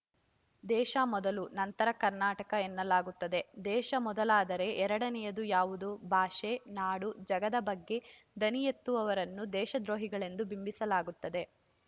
ದೇಶ ಮೊದಲು ನಂತರ ಕರ್ನಾಟಕ ಎನ್ನಲಾಗುತ್ತದೆ ದೇಶ ಮೊದಲಾದರೆ ಎರಡನೇಯದು ಯಾವುದು ಭಾಷೆ ನಾಡು ಜಲದ ಬಗ್ಗೆ ದನಿ ಎತ್ತುವವರನ್ನು ದೇಶದ್ರೋಹಿಗಳೆಂದು ಬಿಂಬಿಸಲಾಗುತ್ತದೆ